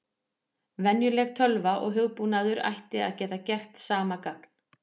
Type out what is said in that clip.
Venjuleg tölva og hugbúnaður ætti að geta gert sama gagn.